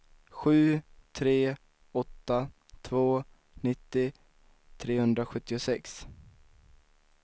sju tre åtta två nittio trehundrasjuttiosex